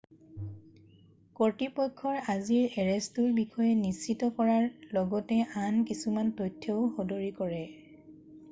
কৰ্তৃপক্ষই আজিৰ এৰেষ্টটোৰ বিষয়ে নিশ্চিত কৰাৰ লগতে আন কিছুমান তথ্যও সদৰী কৰে